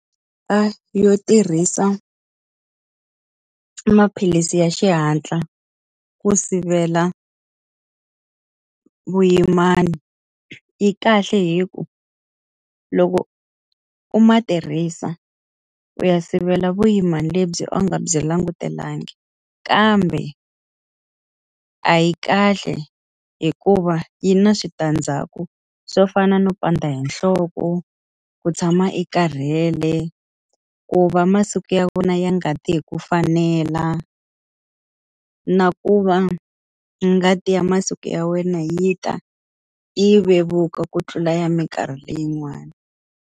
yo tirhisa maphilisi ya xihatla ku sivela vuyimana yi kahle hikuva loko u ma tirhisa, u ya sivela vuyimana lebyi a wu nga byi langutelangi kambe a yi kahle hikuva yi na switandzhaku swo fana no pandza hi nhloko, ku tshama i karhele, ku va masiku ya vona ya ngati hi ku fanela, na ku va ngati ya masiku ya wena yi ta yi vevuka ku tlula ya minkarhi leyin'wani.